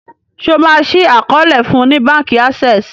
ṣe o ma ṣii àkọọlẹ fún ní bánkì Access?